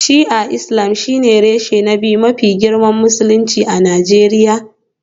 Shi'a Islam shine reshe na biyu mafi girma a Musulunci a Najeriya